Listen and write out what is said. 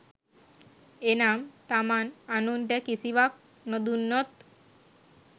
එනම්, තමන් අනුන්ට කිසිවක් නොදුන්නොත්